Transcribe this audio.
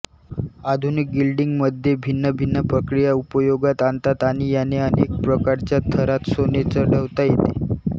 आधुनिक गिल्डिंगमध्ये भिन्न भिन्न प्रक्रिया उपयोगात आणतात आणि याने अनेक प्रकारच्या थरांत सोने चढवता येते